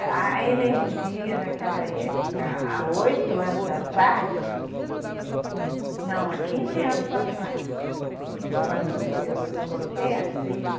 A a energia naquela época, há oito anos atrás, não, há quinze anos atrás, quando eu coloquei a tribo,